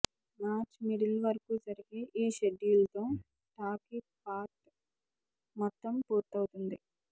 March middle వరకూ జరిగే ఈ షెడ్యూల్ తో టాకీ పార్ట్ మొత్తం పూర్తవుతుంది